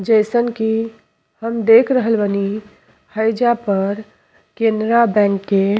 जइसन कि हम देख बनी हइजा पर केनरा बैंक के --